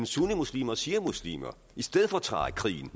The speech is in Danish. sunnimuslimer og shiamuslimer i stedfortræderkrigen